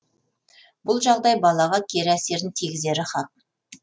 бұл жағдай балаға кері әсерін тигізері хақ